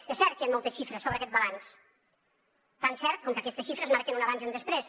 és cert que hi han moltes xifres sobre aquest balanç tan cert com que aquestes xifres marquen un abans i un després